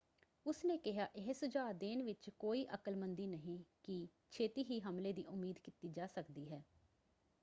ਉਸਨੇ ਕਿਹਾ,"ਇਹ ਸੁਝਾਅ ਦੇਣ ਵਿੱਚ ਕੋਈ ਅਕਲਮੰਦੀ ਨਹੀਂ ਕਿ ਛੇਤੀ ਹੀ ਹਮਲੇ ਦੀ ਉਮੀਦ ਕੀਤੀ ਜਾ ਸਕਦੀ ਹੈ।